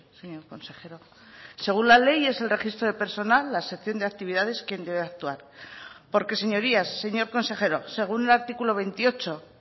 señor consejero según la ley es el registro de personal la sección de actividades quien debe actuar porque señorías señor consejero según el artículo veintiocho